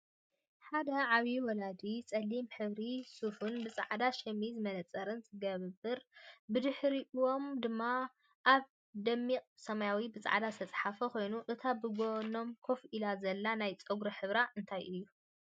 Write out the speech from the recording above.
ሓደ ዓብይ ወላዲ ፀሊም ሕብሪ ስፋን ብፃዕዳ ሸሚዝን መነፀርን ዝገበሩ ብድሕርይኣም ድማ ኣብ ደሚቅ ሰማያዊ ብፃዕዳ ዝተፅሓፈ ኮይኑ እታ ብጎኖም ከፍኢላ ዘላ ናይ ፀጉራ ሕብሪ እንታይ እዩ?